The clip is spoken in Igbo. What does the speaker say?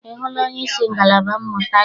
Ị hụla onyeisi ngalaba mmụta gị?